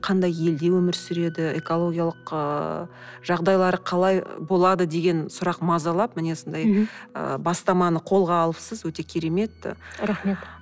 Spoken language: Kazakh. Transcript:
қандай елде өмір сүреді экологиялық ыыы жағдайлары қалай болады деген сұрақ мазалап міне осындай ы бастаманы қолға алыпсыз өте керемет рахмет